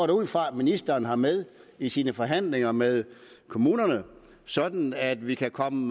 da ud fra at ministeren har med i sine forhandlinger med kommunerne sådan at vi kan komme